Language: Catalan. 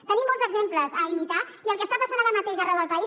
tenim molts exemples a imitar i el que està passant ara mateix arreu del país